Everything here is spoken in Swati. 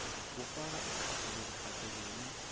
kufaka ekhatsi lokuphatselene